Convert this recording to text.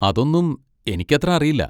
അതൊന്നും എനിക്കത്ര അറിയില്ല.